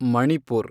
Manipur